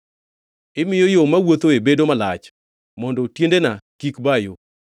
Imiyo yo mawuothoe bedo malach, mondo tiendena kik ba yo.